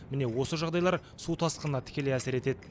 міне осы жағдайлар су тасқынына тікелей әсер етеді